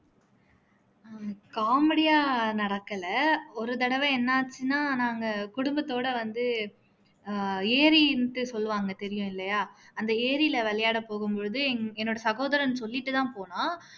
ஹம் comedy ஆ நடக்கல ஒரு தடவ என்ன ஆச்சுன்னா நாங்க குடும்பத்தோட வந்து ஆஹ் ஏரின்னுட்டு சொல்வாங்க தெரியும்லயா அந்த ஏரியில விளையாட போகும் போது எனது சகோதரன் சொல்லிட்டு தான் போனான்